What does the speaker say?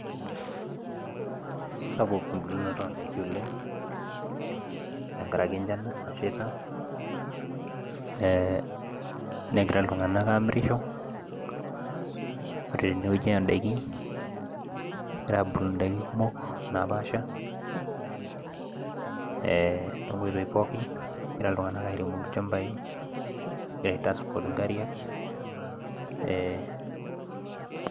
sapuk eunoto oondaikin ooleng sapuk negira sii iltunganak aamirisho tenkaraki naa enchan sapuk nanotoki nilepunye esiai endaa tenkop